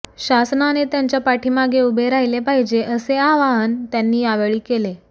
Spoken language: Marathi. शासनाने त्यांच्या पाठीमागे उभे राहिले पाहिजे असे आवाहन त्यांनी यावेळी केले